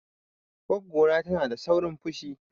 Goggo na tana da saurin fushi.